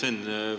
Hea Sven!